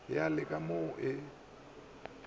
ya le ka mo e